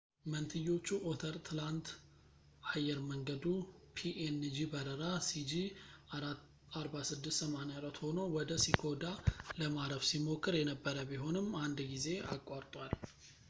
መንትዮቹ ኦተር ትናንት አየር መንገዱ ፒኤንጂ በረራ ሲጂ4684 ሆኖ ወደ ኪኮዳ ለማረፍ ሲሞክር የነበረ ቢሆንም አንድ ጊዜ አቋርጧል